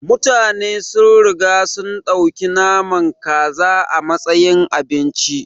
Mutane sun riga sun ɗauki naman kaza a matsayin abinci.